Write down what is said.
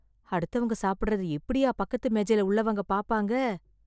அடுத்தவங்க சாப்பிடறத இப்படியா பக்கத்துக்கு மேஜைல உள்ளவங்க பாப்பாங்க.